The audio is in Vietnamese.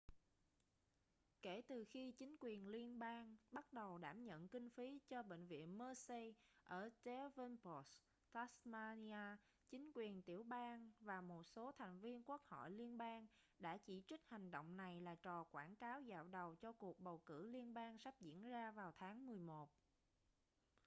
kể từ khi chính quyền liên bang bắt đầu đảm nhận kinh phí cho bệnh viện mersey ở devonport tasmania chính quyền tiểu bang và một số thành viên quốc hội liên bang đã chỉ trích hành động này là trò quảng cáo dạo đầu cho cuộc bầu cử liên bang sắp diễn ra vào tháng 11